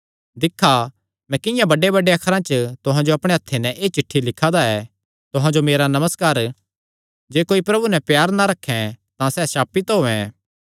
दिक्खा मैं किंआं बड्डेबड्डे अखरां च तुहां जो अपणे हत्थे नैं एह़ चिठ्ठी लिखा दा ऐ तुहां जो मेरा नमस्कार जे कोई प्रभु नैं प्यार ना रखैं तां सैह़ श्रापित होयैं